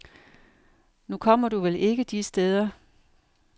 Nu kommer du vel ikke de steder.